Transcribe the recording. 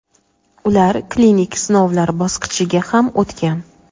ular klinik sinovlar bosqichiga ham o‘tgan.